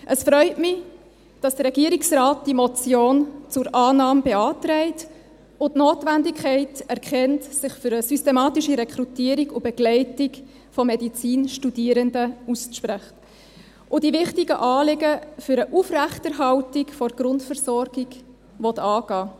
Es freut mich, dass der Regierungsrat diese Motion zur Annahme beantragt, die Notwendigkeit erkennt, sich für eine systematische Rekrutierung und Begleitung von Studierenden der Medizin auszusprechen, und die wichtigen Anliegen für eine Aufrechterhaltung der Grundversorgung angehen will.